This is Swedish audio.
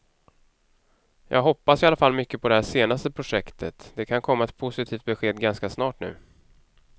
Jag hoppas i alla fall mycket på det här senaste projektet, det kan komma ett positivt besked ganska snart nu.